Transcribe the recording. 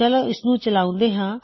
ਚੱਲੋ ਇਸਨੂੰ ਚਲਾਉਂਦੇ ਹਾਂ